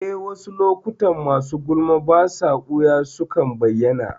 Eh, wasu lokuta masu gulma basa ɓuya sukan bayyana